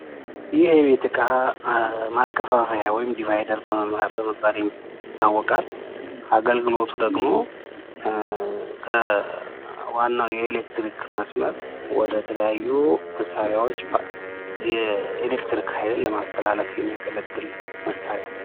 ይህ የቤት እቃ ማከፋፈያ ወይም ድቫይደር በመባል ይታወቃል ፤ አገልግሎቱ ደግሞ ከዋናዉ የኤሌክትሪክ መስመር ወደተለያዩ መሳሪያዎች የኤሌክትሪክ ኃይልን ለማስተላለፍ የሚያገለግል መሳሪያ ነው።